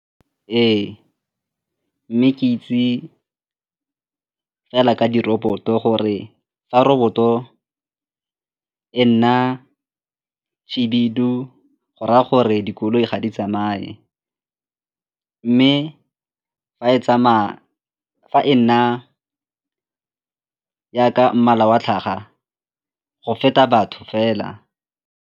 Ee, mme ke itse fela ka diroboto gore fa roboto e nna khibidu go raya gore dikoloi ga di tsamaye mme fa e nna jaaka mmala wa tlhaga go feta batho fela.